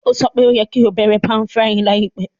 Ó sọ pe o yẹ́ ki o bẹ̀rẹ̀ pan-frying láìpẹ́